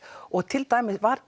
og til dæmis var